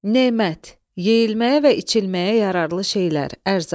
Nemət – yeyilməyə və içilməyə yararlı şeylər, ərzaq.